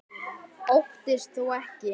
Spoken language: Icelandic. Óttist þó ekki.